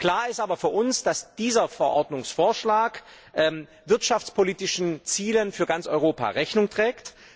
Klar ist aber für uns, dass dieser Verordnungsvorschlag wirtschaftspolitischen Zielen für ganz Europa Rechnung trägt.